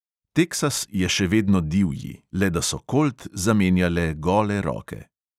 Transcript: Teksas je še vedno divji, le da so kolt zamenjale gole roke.